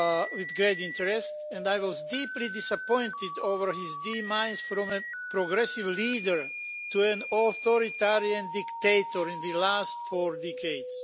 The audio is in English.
with great interest and I was deeply disappointed by his demise from a progressive leader to an authoritarian dictator in the last four decades.